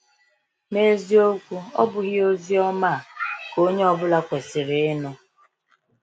N’eziokwu, ọ̀ bụghị ozi ọma a a ka onye ọ bụla kwesịrị ịnụ?